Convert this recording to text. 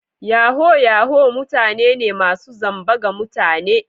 Yahoo Yahoo mutane ne masu zamba ga mutane.